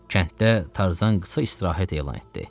Kənddə Tarzan qısa istirahət elan etdi.